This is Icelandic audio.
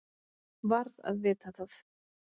Varð að vita það.